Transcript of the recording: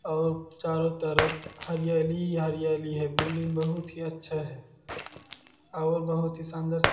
और चारों तरफ हरियाली ही हरियाली है बिल्डिंग बहुत ही अच्छा है और बहुत ही शानदार--